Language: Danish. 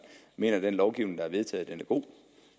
mener at den lovgivning der er vedtaget